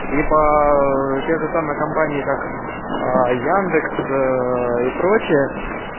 ибо те же самые компании как яндекс и прочее